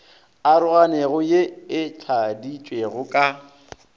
aroganego ye e tladitšwego ka